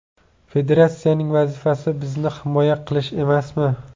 Federatsiyaning vazifasi bizning himoya qilish emasmi?